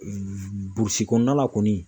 Burusi kɔnɔna la kɔni